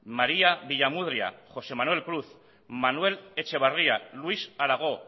maría villamudria josé manuel cruz manuel etxebarria luis aragó